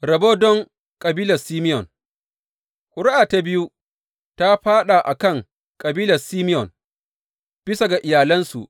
Rabon don kabilar Simeyon Ƙuri’a ta biyu ta fāɗa a kan kabilar Simeyon, bisa ga iyalansu.